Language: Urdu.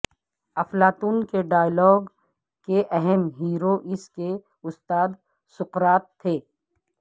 افلاطون کے ڈائیلاگ کے اہم ہیرو اس کے استاد سقراط تھے